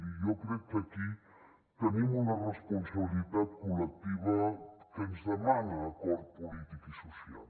i jo crec que aquí tenim una responsabilitat col·lectiva que ens demana acord polític i social